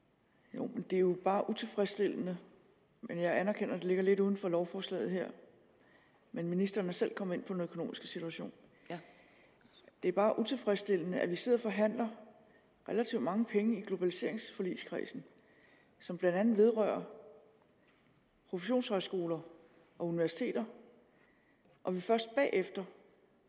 jo men det er jo bare utilfredsstillende jeg anerkender at det ligger lidt uden for lovforslaget her men ministeren er selv kommet ind på den økonomiske situation det er bare utilfredsstillende at vi sidder og forhandler relativt mange penge i globaliseringsforligskredsen som blandt andet vedrører professionshøjskoler og universiteter og først bagefter